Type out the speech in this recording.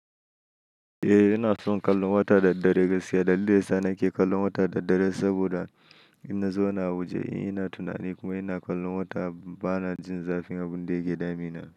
Eh, ina son kallon wata da dare gaskiya. Dalilin sa nake kallon wata da dare saboda ina zauna a waje, ina tunani kuma ina kallon wata bana jin zafin abinda yake damina.